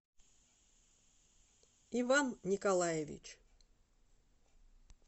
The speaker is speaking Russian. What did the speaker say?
иван николаевич